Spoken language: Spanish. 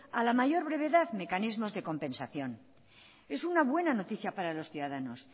a la mayor brevedad mecanismos de compensación es una buena noticia para los ciudadanos